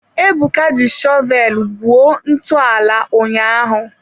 Ebuka ji shọvel gwuo ntọala ụnyaahụ.